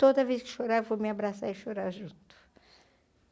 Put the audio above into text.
Toda vez que chorar, vou me abraçar e chorar junto.